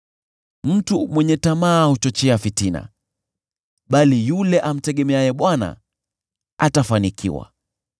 Mtu mwenye tamaa huchochea fitina, bali yule amtegemeaye Bwana atafanikiwa.